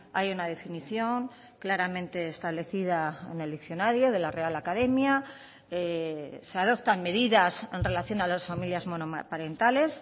hay una definición claramente establecida en el diccionario de la real academia se adoptan medidas en relación a las familias monoparentales